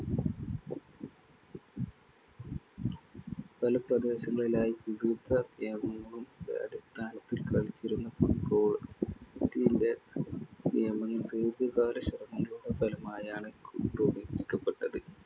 പല പ്രദേശങ്ങളിലായി ദീർഘകാല ശ്രമങ്ങളുടെ ഫലമായാണ്‌ ക്രോഡീകരിക്കപ്പെട്ടത്‌.